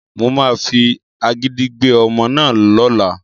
Mo máa fi agídí gbé ọmọ náà lọ́la